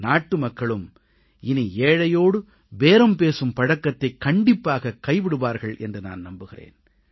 நாட்டுமக்களும் இனி ஏழையோடு பேரம் பேசும் பழக்கத்தைக் கண்டிப்பாக கைவிடுவார்கள் என்று நான் நம்புகிறேன்